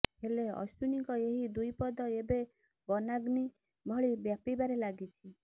ହେଲେ ଅଶ୍ୱୀନଙ୍କ ଏହି ଦୁଇ ପଦ ଏବେ ବନାଗ୍ନୀ ଭଳି ବ୍ୟାପୀବାରେ ଲାଗିଛି